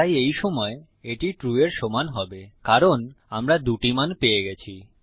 তাই এই সময় এটি ট্রু এর সমান হবে কারণ আমরা দুটি মান পেয়ে গেছি